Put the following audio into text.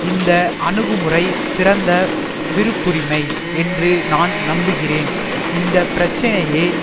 இந்த அணுகுமுறை சிறந்த விருப்புரிமை என்று நான் நம்புகிறேன் இந்த பிரச்சினையை